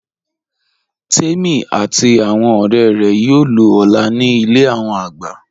Tèmi àti awọn ọ̀rẹ̀ rẹ̀ yóò lọ̀ ọ́lá ní ilẹ̀ awọn àgbà